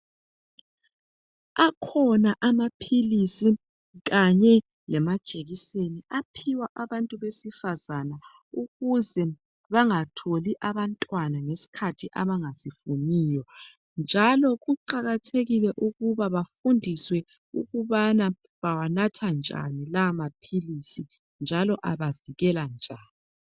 Akhona amaphilisi kanye lamajekiseni aphiwa abantu besifazana ukuze bangatholi abantwana ngesikhathi abangasifuniyo njalo kuqakathekile ukuba bafundiswe ukubana bawanatha njani la maphilisi njalo abavikela njani.